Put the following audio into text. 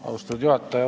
Austatud juhataja!